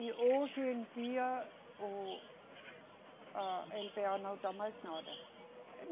E hoje em dia, o, a eLeBêA não dá mais nada.